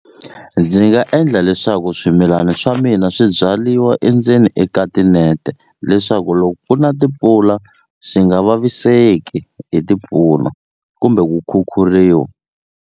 Ndzi nga endla leswaku swimilani swa mina swi byaliwa endzeni eka tinete leswaku loko ku na timpfula swi nga vaviseki hi timpfula kumbe ku khukhuriwa.